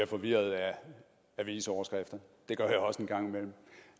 forvirrede af avisoverskrifter det gør